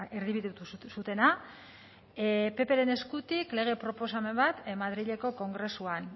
erdibidetu zutena ppren eskutik lege proposamen bat madrileko kongresuan